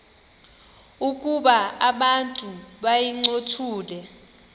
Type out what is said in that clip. ukuba abantu bayincothule